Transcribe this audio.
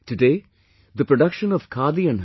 Today the production of khadi and